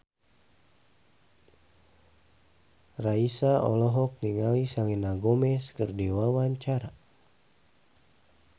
Raisa olohok ningali Selena Gomez keur diwawancara